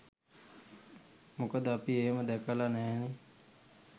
මොකද අපි එහෙම දැකල නැහැනේ